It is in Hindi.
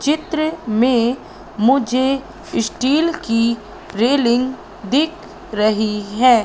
चित्र में मुझे इस्टील की रेलिंग दिख रहीं हैं।